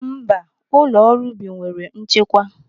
Mba, ụlọ ọrụ ubi nwere nchekwa.